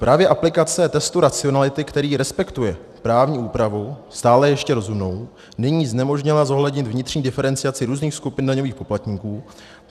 Právě aplikace testu racionality, který respektuje právní úpravu stále ještě rozumnou, nyní znemožnila zohlednit vnitřní diferenciaci různých skupin daňových poplatníků.